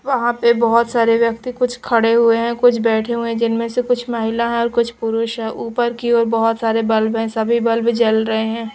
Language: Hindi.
वहाँ पे बहोत सारे व्यक्ति कुछ खड़े हुए हैं। कुछ बैठे हुए हैं। जिनमें से कुछ महिला हैं और कुछ पुरुष हैं। ऊपर की ओर बहोत सारे बल्ब हैं। सभी बल्ब जल रहे हैं।